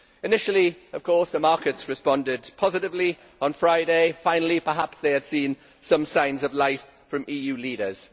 Initially the markets responded positively on Friday finally perhaps they had seen some signs of life from EU leaders.